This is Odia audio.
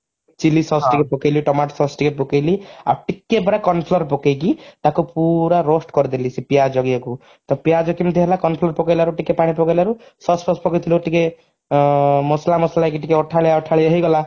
chilli sauce ଟିକେ ପକେଇଲି tomato sauce ଆଉ ଟିକେ ପକେଇଲି ଆଉ ଟିକେ ପରେ corn flour ପକେଇକି ତାକୁ ପୁରା roast କରିଦେଲି ସେ ପିଆଜ ଇଏକୁ ତ ପିଆଜ କେମିତି ହେଲା corn flour ପକେଇଲାରୁ ଟିକେ ପାଣି ପକେଇଲାରୁ sauce ଫସ ଟିକେ ଟିକେ ମସଲା ମସଲା ଟିକେ ଅଠାଳିଆ ଅଠାଳିଆ ହେଇଗଲା